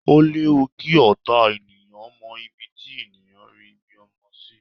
O léwu kí ọ̀tá ènìyàn mọ ibi tí ènìyàn rí ibi ọmọ sí